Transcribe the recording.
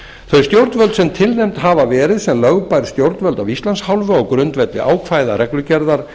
þau stjórnvöld sem tilnefnd hafa verið sem lögbær stjórnvöld af íslands hálfu á grundvelli ákvæða reglugerðar